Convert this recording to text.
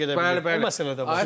Yox mənim təsdiq edə bilməz.